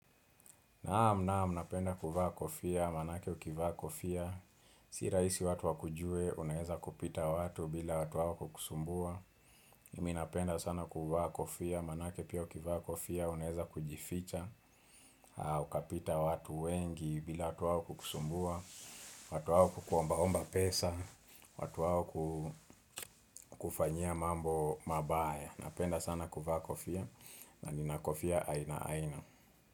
Naam naam, napenda kuvaa kofia, manake ukivaa kofia si raisi watu wakujue, unaeza kupita watu bila watu wao kusumbua. Mimi napenda sana kuvaa kofia, manake pia ukivaa kofia, unaeza kujificha. Ukapita watu wengi bila watu wao kukusumbua. Watu wao kuombaomba pesa. Watu wao kufanyia mambo mabaya. Napenda sana kuvaa kofia. Na nina kofia aina aina.